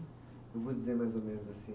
Eu vou dizer mais ou menos assim.